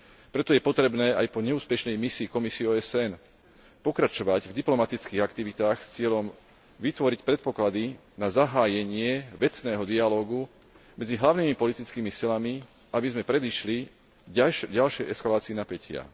Preto je potrebné aj po neúspešnej misii komisie OSN pokračovať v diplomatických aktivitách s cieľom vytvoriť predpoklady na zahájenie vecného dialógu medzi hlavnými politickými silami, aby sme predišli ďalšej eskalácii napätia.